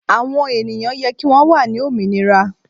Àwọn ènìyàn yẹ kí wón wà ní òmìnira.